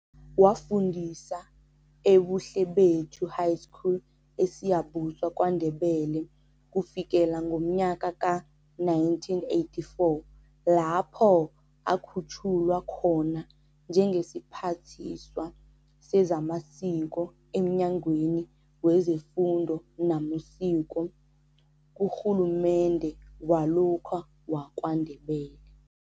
Wafundisa eBuhlebethu High School eSiyabuswa kwaNdebele kufikela ngomnyaka ka1984 lapho akhutjhulwa khona njengesiphathiswa sezamasiko emnyangweni wezeFundo namaSiko kuRhulumende walokha wakwaNdebele.